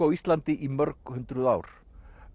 á Íslandi í mörghundruð ár